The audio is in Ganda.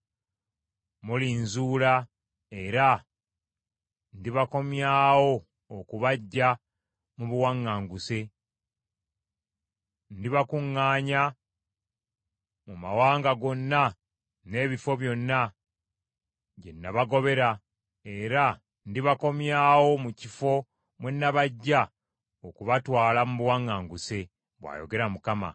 Mulinzuula era ndibakomyawo okubaggya mu buwaŋŋanguse. Ndibakuŋŋaanya mu mawanga gonna n’ebifo byonna, gye nabagobera, era ndibakomyawo mu kifo mwe nabaggya okubatwala mu buwaŋŋanguse,” bw’ayogera Mukama .